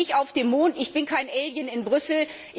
Ich lebe nicht auf dem Mond, ich bin kein Alien in Brüssel.